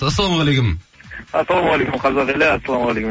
ассалаумағалейкум ассалаумағалейкум қазақ елі ассалаумағалейкум